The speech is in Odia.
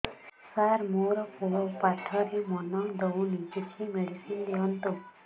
ସାର ମୋର ପୁଅ ପାଠରେ ମନ ଦଉନି କିଛି ମେଡିସିନ ଦିଅନ୍ତୁ